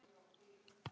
Sá það sem skipti máli.